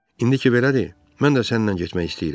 İndi ki belədir, mən də sənnən getmək istəyirəm.